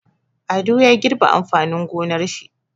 Ado ya girbe amfanin gonar shi.